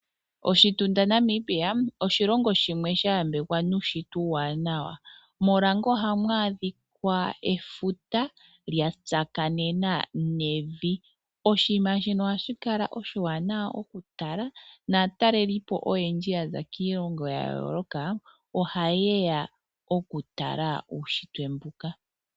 Oshitunda Namibia oshilongo shimwe sha yambekwa nuunshitwe uuwanawa. Morange ohamu adhika efuta lya tsakanena nevi. Oshinima shino ohashi kala oshiwanawa okutala naatalelipo oyendji ya za kiilongo ya yooloka ohaye ya okutala uunshitwe mbuka.